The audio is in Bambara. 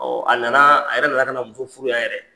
a nana a yɛrɛ nana ka muso furuya yan yɛrɛ.